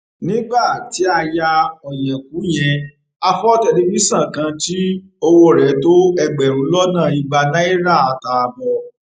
nígbà tí a ya ọyẹkú yẹn a fọ tẹlifíṣàn kan tí owó rẹ tó ẹgbẹrún lọnà igba náírà àtààbọ